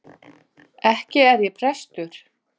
Ekki er ég prestur.